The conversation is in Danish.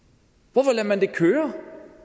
hvorfor lader man det køre